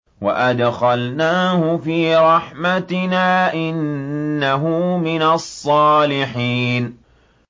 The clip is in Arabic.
وَأَدْخَلْنَاهُ فِي رَحْمَتِنَا ۖ إِنَّهُ مِنَ الصَّالِحِينَ